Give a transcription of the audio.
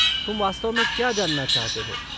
तुम वास्तव में क्या जानना चाहते हो?